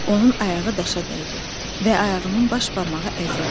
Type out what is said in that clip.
Onun ayağı daşa dəydi və ayağının baş barmağı əzildi.